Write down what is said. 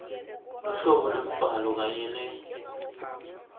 luhlobo lwembhalo kanye